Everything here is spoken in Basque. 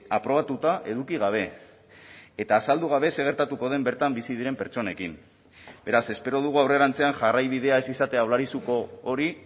aprobatuta eduki gabe eta azaldu gabe zer gertatuko den bertan bizi diren pertsonekin beraz espero dugu aurrerantzean jarraibidea ez izatea olarizuko hori